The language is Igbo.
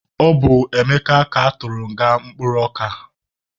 Ọ bụ Emeka ka atụrụ nga mkpụrụ ọka.